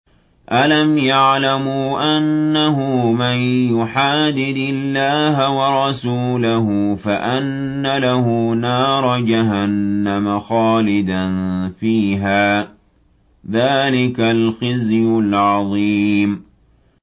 أَلَمْ يَعْلَمُوا أَنَّهُ مَن يُحَادِدِ اللَّهَ وَرَسُولَهُ فَأَنَّ لَهُ نَارَ جَهَنَّمَ خَالِدًا فِيهَا ۚ ذَٰلِكَ الْخِزْيُ الْعَظِيمُ